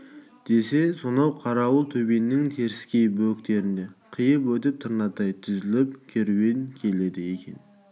десе сонау қарауыл төбенің теріскей бөктерін қиып өтіп тырнадай тізіліп керуен келеді екен